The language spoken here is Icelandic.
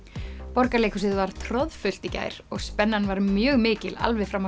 Borgarleikhúsið var troðfullt í gær og spennan var mjög mikil alveg fram á